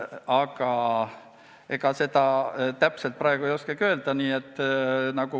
Aga ega seda täpselt praegu ei oskagi öelda.